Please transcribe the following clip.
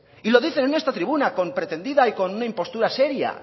y lo dicen en esta tribuna con pretendida y con una impostura seria